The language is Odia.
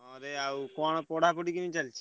ହଁ ରେ ଆଉ ପଢାପଢି କେମିତି ଚାଲଚି?